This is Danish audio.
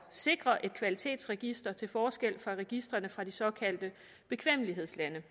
sikre et kvalitetsregister til forskel fra registrene fra de såkaldte bekvemmelighedslande